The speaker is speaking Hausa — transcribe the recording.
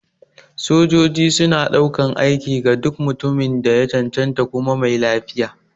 Sojoji suna ɗaukan aiki ga duk mutumin da ya cancanta kuma mai lafiya.